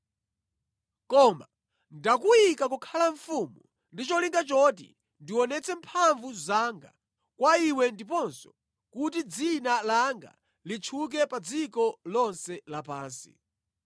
Koma ndakuyika kukhala mfumu ndi cholinga choti ndionetse mphamvu zanga kwa iwe ndiponso kuti dzina langa litchuke pa dziko lonse lapansi.